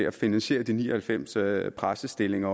at finansiere de ni og halvfems særpræstestillinger